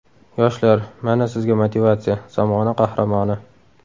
Yoshlar, mana sizga motivatsiya, zamona qahramoni.